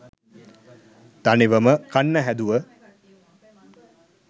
තනිවම කන්න හැදුව